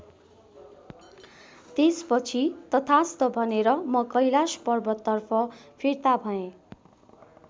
त्यसपछि तथास्त् भनेर म कैलाश पर्वततर्फ फिर्ता भएँ।